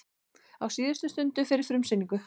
Á síðustu stundu fyrir frumsýningu